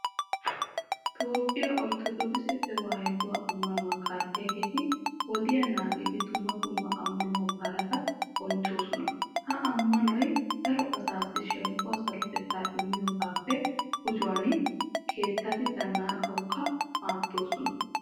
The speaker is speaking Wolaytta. Toophphiya orttodookise tewaahiduwa ammanuwa kaalliyageeti wodiya naagidi dumma dumma ammanuwa baalata bonchchoosona. Ha ammanoy daro asaassi shemppuwa sarotettaa Immiyogaappe gujuwan keettati zannaqawukka maaddoosona.